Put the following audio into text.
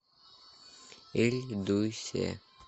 ильдусе